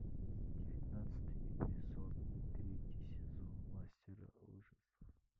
девятнадцатый эпизод третий сезон мастера ужасов